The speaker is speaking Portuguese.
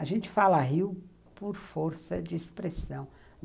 A gente fala rio por força de expressão.